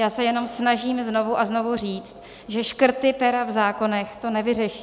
Já se jenom snažím znovu a znovu říci, že škrty pera v zákonech to nevyřeší.